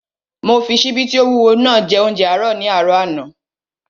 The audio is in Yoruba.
Mo fi ṣíbí tí ó wúwo naa jẹ óúnjẹ àárọ̀ ní àárọ̀ àná